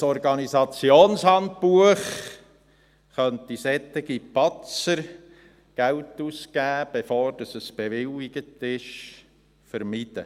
Ein Organisationshandbuch könnte solche Patzer – Geld ausgeben, bevor es bewilligt ist – vermeiden.